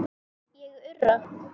Ég urra.